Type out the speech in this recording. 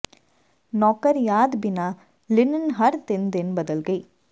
ਨੌਕਰ ਯਾਦ ਬਿਨਾ ਲਿਨਨ ਹਰ ਤਿੰਨ ਦਿਨ ਬਦਲ ਗਈ